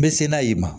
Me se n'a ye ma